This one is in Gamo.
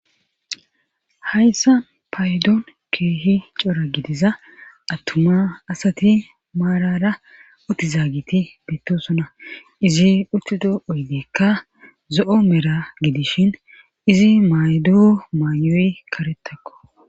hayssa paydoon keehi cora gidiza attuma asati maarara otizaagiti deettosona izi urtido oydeekka zo7o mera gidishin izi maydoo maayoy karetakko